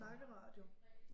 Snakke radio